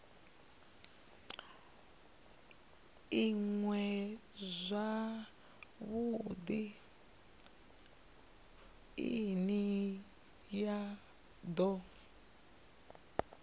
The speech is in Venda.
iṅwe zwavhudi ine ya do